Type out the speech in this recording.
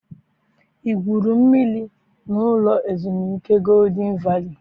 I gwuru mmiri n'ụlọ ezumike Golden Valley?